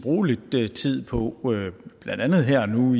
bruge lidt tid på blandt andet her og nu